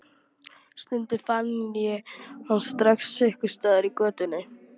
Stundum fann ég hann strax einhvers staðar í götunni.